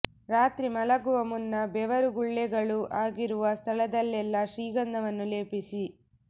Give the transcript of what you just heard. ರಾತ್ರಿ ಮಲಗುವ ಮುನ್ನ ಬೆವರು ಗುಳ್ಳೆಗಳು ಆಗಿರುವ ಸ್ಥಳದಲ್ಲೆಲ್ಲಾ ಶ್ರೀಗಂಧವನ್ನು ಲೇಪಿಸಿ